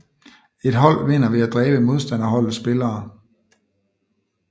Et hold vinder ved at dræbe modstanderholdets spillere